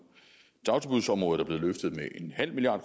dagtilbudsområdet er blevet løftet med en halv milliard